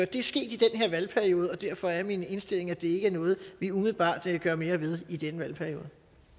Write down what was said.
det er sket i den her valgperiode og derfor er min indstilling at det ikke er noget vi umiddelbart gør mere ved i denne valgperiode